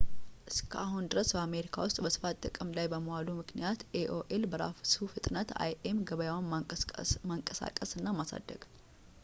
እስከ አሁን ድረስ፣ በአሜሪካ ውስጥ በስፋት ጥቅም ላይ በመዋሉ ምክንያት ኤ.ኦ.ኤል በራሱ ፍጥነት የአይ.ኤም ገበያውን ማንቀሳቀስ እና ማሳደግ